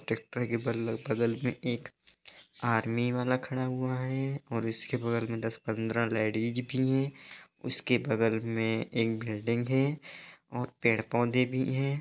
Tractor के बगल में एक आर्मी वाला खड़ा हुआ है और इसके बगल मे दस-पंद्रह लेडिस भी हैं | उसके बगल में एक बिल्डिंग है और पेड़-पौधे भी हैं ।